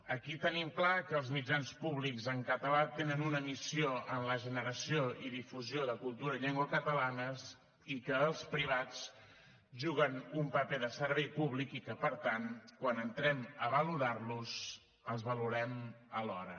aquí tenim clar que els mitjans públics en català tenen una missió en la generació i difusió de cultura i llengua catalanes i que els privats juguen un paper de servei públic i que per tant quan entrem a valorar los els valorem alhora